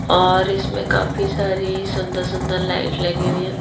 और इसमें काफी सारी सुंदर- सुंदर लाइट लगी हुई हैं।